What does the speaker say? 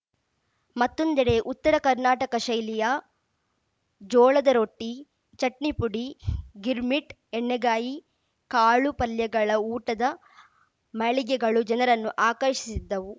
ಮತ್ತೊಂದೆಡೆ ಉತ್ತರ ಕರ್ನಾಟಕ ಶೈಲಿನ ಜೋಳದ ರೊಟ್ಟಿ ಚಟ್ನಿಪುಡಿ ಗಿರ್‌ಮಿಟ್‌ ಎಣ್ಣೆಗಾಯಿ ಕಾಳು ಪಲ್ಯಗಳ ಊಟದ ಮಳಿಗೆಗಳು ಜನರನ್ನು ಆಕರ್ಷಿಸಿದ್ದವು